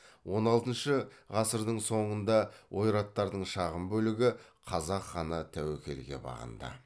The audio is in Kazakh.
он алтыншы ғасырдың соңында ойраттардың шағын бөлігі қазақ ханы тәуекелге бағынды